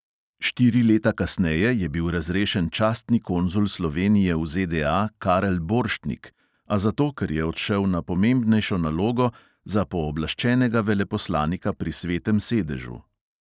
Štiri leta kasneje je bil razrešen častni konzul slovenije v ZDA karel borštnik, a zato, ker je odšel na pomembnejšo nalogo za pooblaščenega veleposlanika pri svetem sedežu.